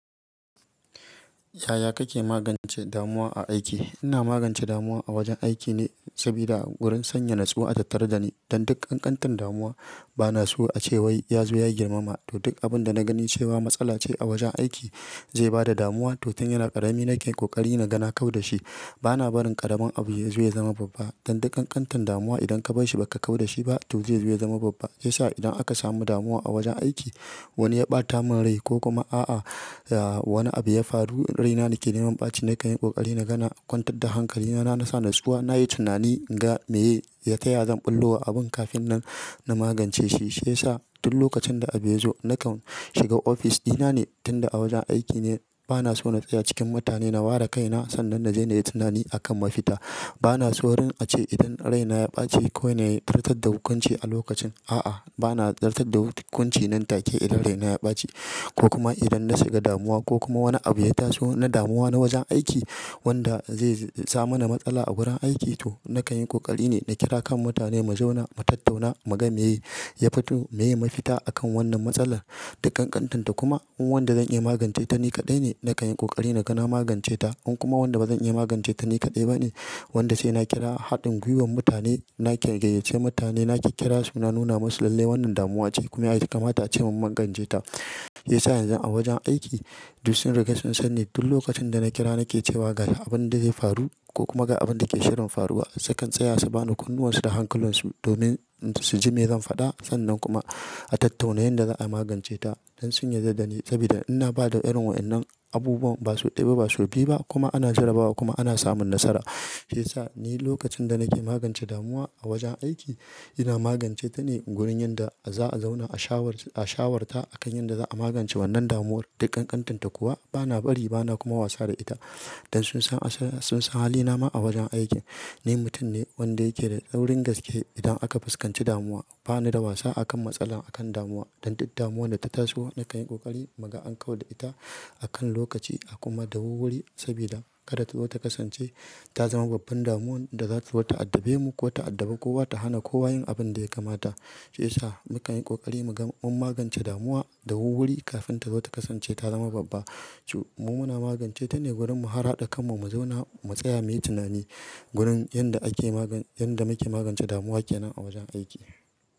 Yaya kake magance damuwa a aiki? Ina magance damuwa a wajen aiki ne sabida wurin sanya natsuwa a tattarda ne. Dan dukkan ƙanƙantan damuwa bana so a ce wai ya zo ya girmama. To duk abin da na gani cewa matsala ce a wajen aiki zai bada damuwa. To tun yana ƙarami nake ko ƙari naga na kau da shi. Bana barin ƙaramin abu ya zo ya zama babba. Dan dukkan ƙanƙantan damuwa idan ka bar shi baka kau da shi ba to zai zo ya zama babba. Shiya sa idan aka samu damuwa a wajen aiki wani ya ɓata min rai ko kuma a'a ya wani abu ya faru raina nake neman ɓaci nakan yi ƙoƙari na gana kwantar da hankali na, na sa natsuwa, nayi tunani in ga me ya taya zan ɓullo wa abun kafin nan na magance shi. Shiya sa duk lokacin da abu zo nakan shiga ofis ɗina ne tunda a wajen aiki ne bana so na tsaya cikin mutane na ware kaina sannan na je nayi tunani akan mafita. Bana so wurin a ce idan raina ya ɓaci kowane ya furta da hukunci a lokacin. A'a bana zartar da hukunci nan take idan raina ya ɓaci ko kuma idan na shiga damuwa ko kuma wani abu ya taso na damuwa na wajen aiki wanda zai sa mana matsala a gurin aiki to nakan yi ƙoƙari ne na kira kan mutane mu zauna mu tattauna mu ga me ye ya fito meye mafita akan wannan matsalar. Duk ƙanƙantanta kuma in wanda zan iya magance ta ni kaɗai ne nakan yi ƙoƙari naga na magance ta. In kuma wanda bazan iya magance ta ni kaɗai bane wanda sai na kira haɗin gwiwar mutane nake gayyace mutane nake kira su na nuna masu lalle wannan damuwa ce kuma ya kamata a ce mun magance ta. Shiya sa yanzu a wajen aiki duk sun riƙe sun san ne duk lokacin da na kira nake cewa ga abin da zai faru ko kuma ga abun da ke shirin faruwa. Sukan tsaya su bani kunnuwan su da hankulan su domin su ji me zan faɗa sannan kuma a tattauna yanda za'a magance ta don sun yarda da ni sabida ina bada irin wa'inan abubuwan ba sau ɗaya ba sau biyu ba kuma ana jarrabawa kuma ana samun nasara. Shiya sa ni lokacin da nake magance damuwa a wajen aiki ina magance ta ne gurin yanda za'a zauna a shawar-a shawar ta akan yanda za'a magance wannan damuwar. Duk ƙanƙantanta kuwa bana bari bana kuma wasa da ita don sun san asal-sun san halina ma a wajen aiki. Ni mutum ne wanda yake da tsaurin gaske idan aka fuskanci damuwa. Bana da wasa akan matsala akan damuwa. Dan dukkan damuwar da ta taso nakan yi ƙoƙari mu ga an kau da ita a kan lokaci a kuma dawur wuri sabida kada ta zo ta kasance ta zama babbar damuwan da zata zo ta addabe mu ko ta addabe kowa ta hana kowa yin abun da ya kamata. Shiya sa mukan yi ƙoƙari mu ga mun magance damuwa dawur wuri kafin ta zo ta kasance ta zama babba. Mu muna magance ta ne wurin mu har haɗa kan mu mu zauna mu tsaya muyi tunani gurin yanda ake magan-yanda muke magance damuwa kenan a wajen aiki.